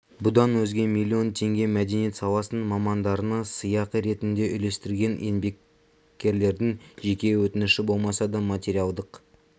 бұдан өзге миллион теңге мәдениет саласының мамандарына сыйақы ретінде үлестірілген еңбеккерлердің жеке өтініші болмаса да материалдық